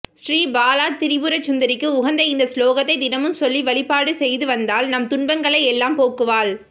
ஸ்ரீ பாலா திரிபுரசுந்தரிக்கு உகந்த இந்த ஸ்லோகத்தை தினமும் சொல்லி வழிபாடு செய்து வந்தால் நம் துன்பங்களை எல்லாம் போக்குவாள்